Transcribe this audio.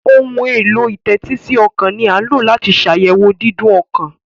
Ohun èlò ìtẹ́tísí ọkàn ní a lọ láti ṣ'ayẹwo Dídún ọkàn.